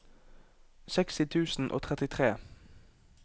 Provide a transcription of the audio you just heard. seksti tusen og trettitre